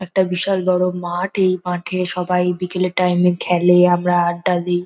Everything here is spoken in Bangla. একটা বিশাল বড় মাঠ এই মাঠে সবাই বিকালের টাইম এ খেলে আমরা আড্ডা দিই।